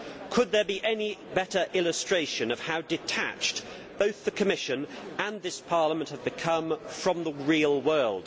Could there be any better illustration of how detached both the Commission and this Parliament have become from the real world?